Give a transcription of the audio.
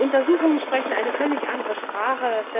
das. Untersuchungen sprechen eine völlig andere Sprache.